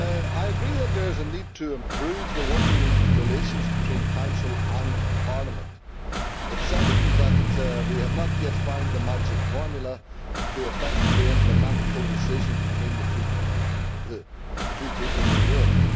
I agree that there is a need to improve the working relations between Council and Parliament. It is evident that we have not yet found the magic formula to effectively implement codecision between the two peoples in Europe.